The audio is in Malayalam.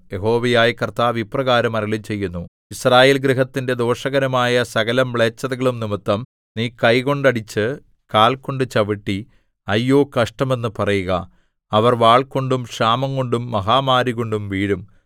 യഹോവയായ കർത്താവ് ഇപ്രകാരം അരുളിച്ചെയ്യുന്നു യിസ്രായേൽ ഗൃഹത്തിന്റെ ദോഷകരമായ സകലമ്ലേച്ഛതകളും നിമിത്തം നീ കൈകൊണ്ടടിച്ച് കാൽ കൊണ്ട് ചവിട്ടി അയ്യോ കഷ്ടം എന്ന് പറയുക അവർ വാൾകൊണ്ടും ക്ഷാമംകൊണ്ടും മഹാമാരികൊണ്ടും വീഴും